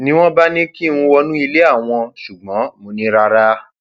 ni wọn bá ní kí n wọnú ilé àwọn ṣùgbọn mo ní rárá